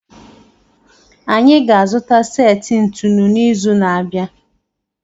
Anyị ga-azụta seti ntụnụ n'izu na-abịa